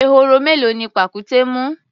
Ehoro mélòó ni pàkúté mú?